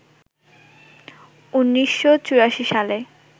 ১৯৮৪ সালে